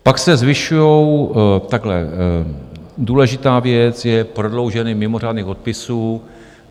Pak se zvyšují - takhle, důležitá věc je prodloužení mimořádných odpisů.